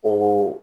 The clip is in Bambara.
O